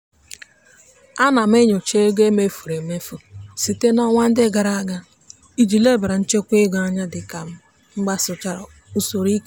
ana m enyocha ego e mefuru emefu site n'ọnwa ndị gara aga iji lebara nchekwa ego anya dị ka m gbasochara usoro.